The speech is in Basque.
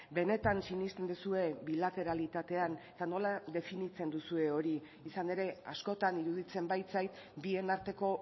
benetan sinesten duzue bilateralitatean eta nola definitzen duzue hori izan ere askotan iruditzen baitzait bien arteko